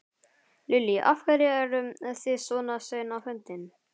Lillý: Af hverju eru þið svona sein á fundin?